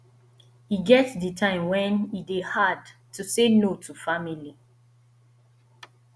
e get di time wen e dey hard to say no to family